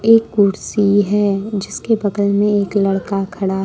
एक कुर्सी हैं जिसके बगल में एक लड़का खड़ा है।